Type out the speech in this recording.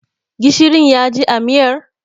Gishirin ya ji a miyar?